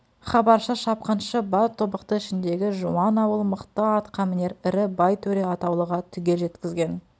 хабаршы-шапқыншы бар тобықты ішіндегі жуан ауыл мықты атқамінер ірі бай төре атаулыға түгел жеткізген